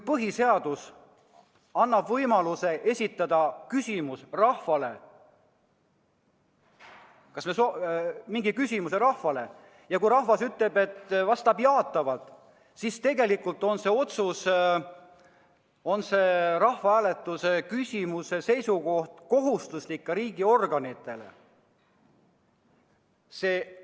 Põhiseadus annab võimaluse esitada rahvale küsimus ja kui rahvas vastab jaatavalt, kas siis on see otsus, see rahvahääletusel selgunud seisukoht kohustuslik ka riigiorganitele?